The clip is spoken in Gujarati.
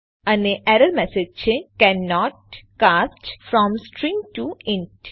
અને એરર મેસેજ છે cannot cast from string to int